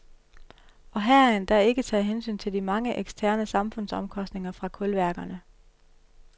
Og her er endda ikke taget hensyn til de mange eksterne samfundsomkostninger fra kulværkerne.